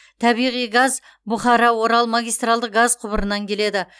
табиғи газ бұхара орал магистральдық газ құбырынан келеді